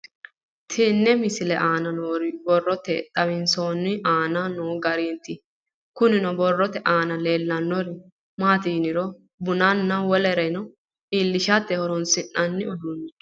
Tenne misile aana noore borroteni xawiseemohu aane noo gariniiti. Kunni borrote aana leelanori maati yiniro bunanna wolere illishshate horonisinanni uduunicho.